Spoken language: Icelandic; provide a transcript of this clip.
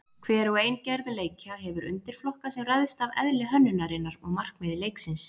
Hver og ein gerð leikja hefur undirflokka sem ræðst af eðli hönnunarinnar og markmiði leiksins.